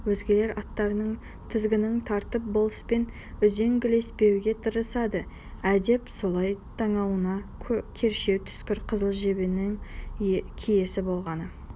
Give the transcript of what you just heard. өзгелер аттарының тізгінін тартып болыспен үзеңгілеспеуге тырысады әдеп солай танауыңа кершеу түскір қызыл жебенің киесі болғаны